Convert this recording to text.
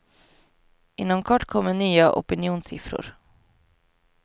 Inom kort kommer nya opinionssiffror.